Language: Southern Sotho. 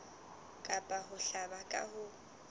kapa ho hlaba ka ho